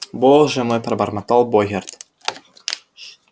боже мой пробормотал богерт